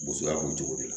Bosonya b'o cogo de la